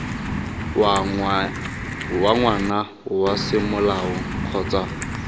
wa ngwana wa semolao kgotsa